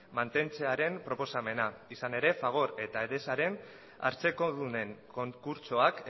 mantentzearen proposamena izan ere fagor eta edesaren hartzekodunen konkurtsoak